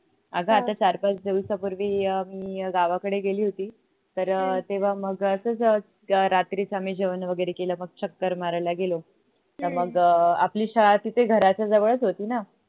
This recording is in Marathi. अग आता चार पाच दिवसा पहिले मी गाव कडे गेली होती तर अह तेव्हा मग असच रात्रीच आम्ही जेवण वगरे केल मग चक्कर मारायला गेलो. मग अह आपली शाळा तिथे घराच्या जवळच होती न